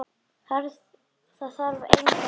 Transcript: Það þarf engin orð.